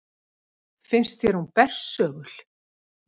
Finnst þér hún bersögul?